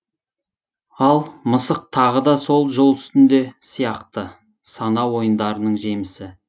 ал мысық тағы да сол жол үстінде сияқты сана ойындарының жемісі